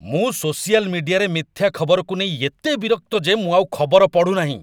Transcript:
ମୁଁ ସୋସିଆଲ୍ ମିଡିଆରେ ମିଥ୍ୟା ଖବରକୁ ନେଇ ଏତେ ବିରକ୍ତ ଯେ ମୁଁ ଆଉ ଖବର ପଢ଼ୁନାହିଁ।